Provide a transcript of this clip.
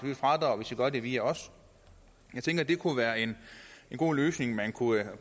fradrag hvis i gør det via os jeg tænker at det kunne være en god løsning man kunne